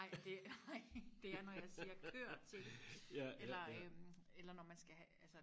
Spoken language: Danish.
nej det nej det er når jeg siger kør til eller øh eller når man skal have altså